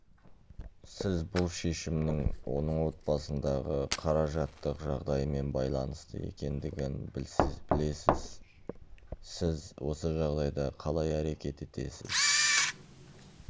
сіз бұл шешімнің оның отбасындағы қаражаттық жағдаймен байланысты екендігің білесіз сіз осы жағдайда қалай әрекет етесіз